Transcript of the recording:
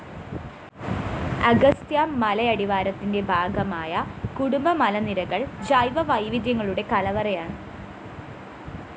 അഗസ്ത്യ മലയടിവാരത്തിന്റെ ഭാഗമായ കടുംബു മലനിരകള്‍ ജൈവ വൈവിധ്യങ്ങളുടെ കലവറയാണ്